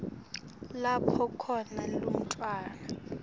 lapho khona umntfwana